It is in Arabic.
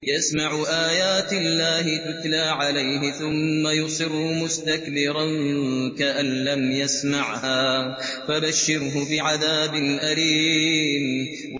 يَسْمَعُ آيَاتِ اللَّهِ تُتْلَىٰ عَلَيْهِ ثُمَّ يُصِرُّ مُسْتَكْبِرًا كَأَن لَّمْ يَسْمَعْهَا ۖ فَبَشِّرْهُ بِعَذَابٍ أَلِيمٍ